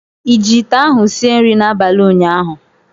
Ị ji ite ahụ sie nri n'abalị ụnyaahụ?